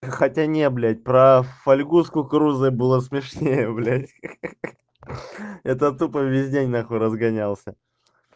а хотя не блядь про фольгу с кукурузой было смешнее блядь ха-ха это тупо весь день нахуй разгонялся